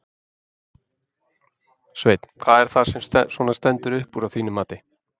Sveinn: Hvað er það sem að svona stendur upp úr að þínu mati?